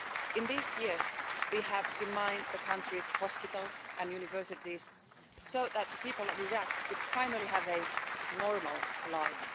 In these years we have demined the country's hospitals and universities, so that the people of Iraq could finally have a normal life.